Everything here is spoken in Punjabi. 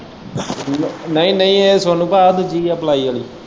ਨਈ ਨਈ ਏ ਇਹ ਸੋਨੂੰ ਭਾਅ ਦੂਜੀ ਏ ਪਲਾਈ ਆਲ਼ੀ।